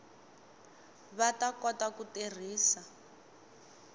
va ta kota ku tirhisa